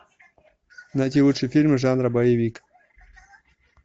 найти лучшие фильмы жанра боевик